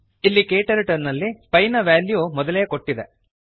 ಇಲ್ಲಿ ಕ್ಟರ್ಟಲ್ ನಲ್ಲಿ ಪಿ ನ ವೆಲ್ಯೂ ಮೊದಲೇ ಕೊಟ್ಟಿದೆ